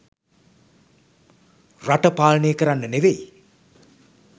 රට පාලනය කරන්න නෙවෙයි